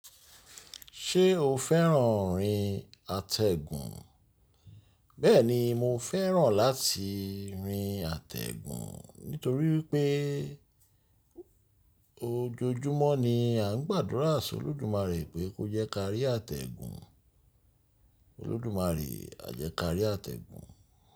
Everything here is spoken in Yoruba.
Ṣé o fẹ́ràn irin àtẹ̀gùn? Bẹ́ẹ̀ni, mo fẹ́ràn láti rin àtẹ̀gùn nítorí pé ojoojúmọ́ ni à ń gbàdúrà sí Olódùmarè pé kó jẹ́ ká rí àtẹ̀gùn. Olódùmarè, àjẹ́kárí àtẹ̀gùn.